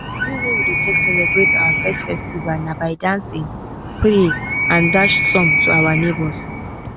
de way we dey take celebrate our first harvest na by dancing pray and dash some to our neighbors